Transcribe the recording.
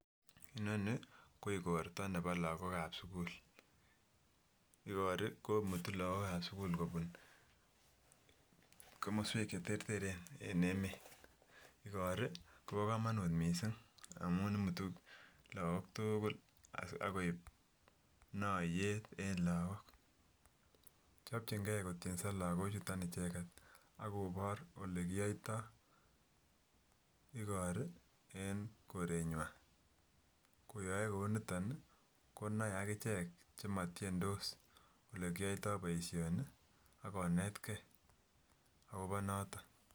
Inonii ko igorto nebo lakok ab sukul , ogorii komutuu lokok an sukul kobun komoswek che terteren en emet. Igorii kobo komonut missing amun imutu lakok tugul agoib noyet en lakok. Chopchige kotyeso lokochuton icheget akobor ole kiyoyto igorii en koreywan, koyoe kouniton konoe akichek chemotyendos ole kiyoytoo boishonii ako netgee akobo noton